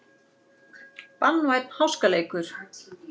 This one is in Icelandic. Banvænn háskaleikur